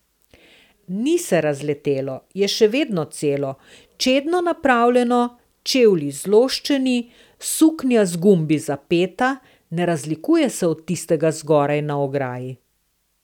Ni se razletelo, je še vedno celo, čedno napravljeno, čevlji zloščeni, suknja z gumbi zapeta, ne razlikuje se od tistega zgoraj na ograji.